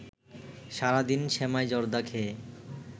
সারাদিন সেমাই জর্দা খেয়ে